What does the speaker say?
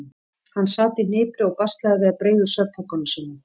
Hann sat í hnipri og baslaði við að breiða úr svefnpokanum sínum.